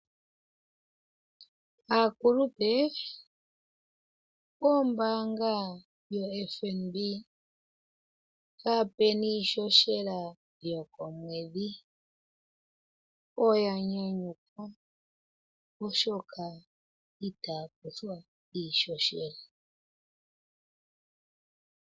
Aakulupe, ombaanga yo FNB, kaape na iishoshela yokomwedhi, oya nyanyukwa oshoka, itaa kuthwa iishoshela.